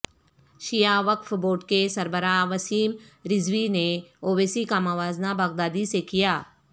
شیعہ وقف بورڈ کے سربراہ وسیم رضوی نے اویسی کا موازنہ بغدادی سے کیا